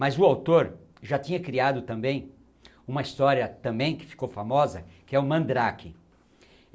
Mas o autor já tinha criado também uma história, também que ficou famosa, que é o Mandrake.